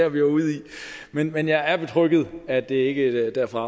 vi var ude i men jeg er betrygget i at det ikke er derfra